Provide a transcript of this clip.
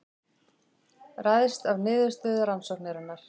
Ræðst af niðurstöðu rannsóknarinnar